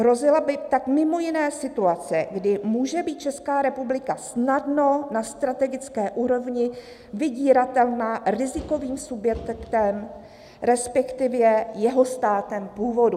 Hrozila by tak mimo jiné situace, kdy může být Česká republika snadno na strategické úrovni vydíratelná rizikovým subjektem, respektive jeho státem původu."